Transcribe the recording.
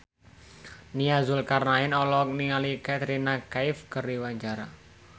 Nia Zulkarnaen olohok ningali Katrina Kaif keur diwawancara